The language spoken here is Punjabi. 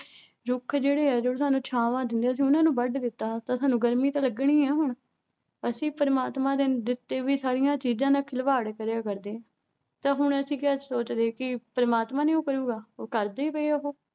ਰੁੱਖ ਜਿਹੜੇ ਹੈ ਜੋ ਸਾਨੂੰ ਛਾਵਾਂ ਦਿੰਦੇ, ਅਸੀਂ ਉਹਨਾਂ ਨੂੰ ਵੱਢ ਦਿੱਤਾ ਤਾਂ ਸਾਨੂੰ ਗਰਮੀ ਤਾਂ ਲੱਗਣੀ ਹੈ ਹੁਣ, ਅਸੀਂ ਪ੍ਰਮਾਤਮਾ ਦੇ ਦਿੱਤੇ ਵੀ ਸਾਰੀਆਂ ਚੀਜ਼ਾਂ ਦਾ ਖਿਲਵਾੜ ਕਰਿਆ ਕਰਦੇ ਤਾਂ ਹੁਣ ਅਸੀਂ ਕਿਆ ਸੋਚਦੇ ਕਿ ਪ੍ਰਮਾਤਮਾ ਨੀ ਉਹ ਕਰੇਗਾ ਉਹ ਕਰਦੇ ਪਏ ਆ ਉਹ